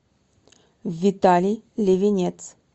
виталий левинец